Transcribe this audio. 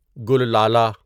گل لالہ